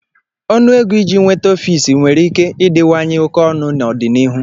Ọnụ ego iji nweta ọfiisi nwere ike ịdịwanye oke ọnụ n'ọdịnihu.